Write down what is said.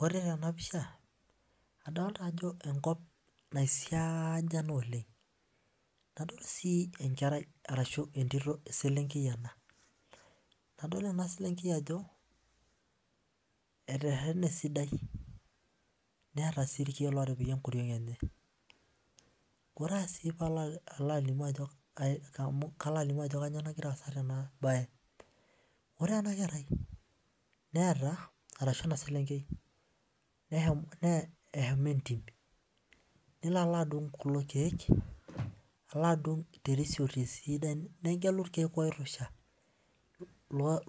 Ore tena pisha, adolita ajo enkop naisiaanya naa oleng. Nadol sii entito, enkerai ashu eselenkei ena. Nadol ena selenkei ajo eterrene esidai neeta sii irkiek ootipika enkoriong' enye. Ore sii paalo alimu, amu kalo alimu ajo kanyoo nagira aasa tena bae. Ore ena kerai neeta, arashu ena selenkei eshomo entim nelo alo adung' kulo kiek alo adung terisioti sidai, negelu irkiek oirrusha,